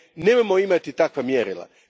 Nemojmo imati takva mjerila.